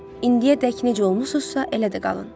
İndiyədək necə olmusuzsa, elə də qalın.